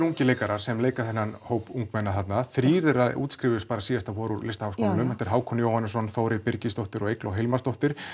ungir leikarar sem leika þennan hóp ungmenna þrír þeirra útskrifuðust bara síðasta vor úr Listaháskólanum þetta eru Hákon Jóhannesson Þórey Birgisdóttir og Eygló Hilmarsdóttir